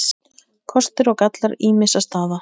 KOSTIR OG GALLAR ÝMISSA STAÐA